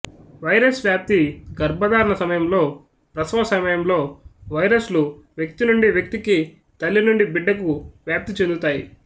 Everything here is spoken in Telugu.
వైరస్ వ్యాప్తి గర్భధారణ సమయంలో ప్రసవ సమయంలో వైరస్లు వ్యక్తి నుండి వ్యక్తికి తల్లి నుండి బిడ్డకు వ్యాప్తి చెందుతాయి